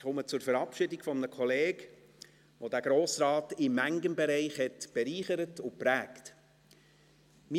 Ich komme zur Verabschiedung eines Kollegen, der diesen Grossen Rat in manchem Bereich bereichert und geprägt hat.